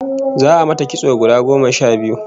Za'a mata kitso gora goma sha biyu